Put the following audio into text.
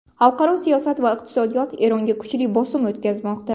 Xalqaro siyosat va iqtisod Eronga kuchli bosim o‘tkazmoqda.